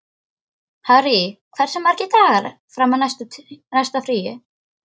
Harry, hversu margir dagar fram að næsta fríi?